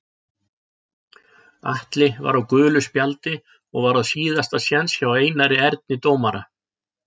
Atli var á gulu spjaldi og var á síðasta séns hjá Einari Erni dómara.